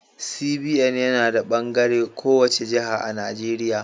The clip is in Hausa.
CBN yana da bangare a kowace jiha a Najeriya.